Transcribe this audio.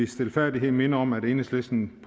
stilfærdighed minde om at enhedslisten